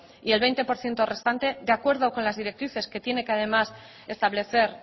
y el veinte por ciento restante de acuerdo con las directrices que tiene que además establecer